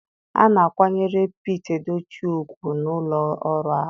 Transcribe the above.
A na-akwanyere pete Edochie ugwu na ụlọ ọrụ ahụ.